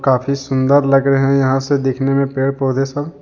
काफी सुन्दर लग रहे है यहाँ से देखने में पेड़ पौधे सब।